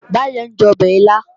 Báyọ̀ ń jẹ ọbẹ̀ ilá